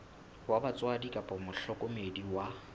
wa batswadi kapa mohlokomedi wa